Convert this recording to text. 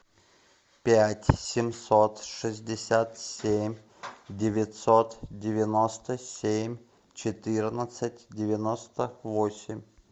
пять семьсот шестьдесят семь девятьсот девяносто семь четырнадцать девяносто восемь